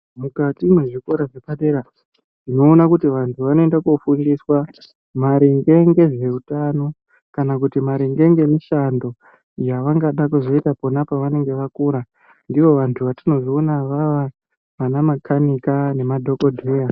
Mukati mwezvikora zvepadera ndinoona kuti vantu vanoenda kofundiswa maringe ngezveutano kana kuti maringe ngemishando yavangada kuzoita pona pavanenge vakura, ndivo vantu vatinozoona vava vana makanika nema dhokodheya